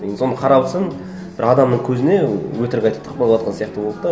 соны қарап отырсаң бір адамның көзіне өтірік айтып тықпалаватқан сияқты болды да